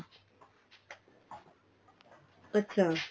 ਅੱਛਾ